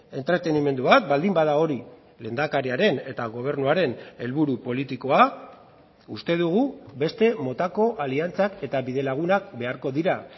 entretenimendu bat baldin bada hori lehendakariaren eta gobernuaren helburu politikoa uste dugu beste motako aliantzak eta bidelagunak beharko dira